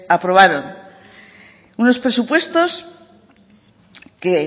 aprobaron unos presupuestos que